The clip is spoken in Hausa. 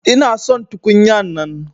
Ina son tukunya'nan.